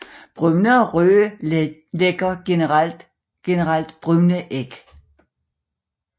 Brune og røde lægger generelt brune æg